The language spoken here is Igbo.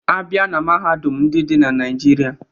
A bịa na mahadum ndị dị na Naịjirịa